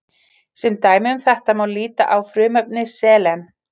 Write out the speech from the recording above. Sem dæmi um þetta má líta á frumefni selen.